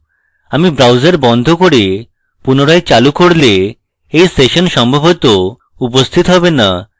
আমি browser বন্ধ করে পুনরায় চালু করলে এই session সম্ভবত উপস্থিত হবে না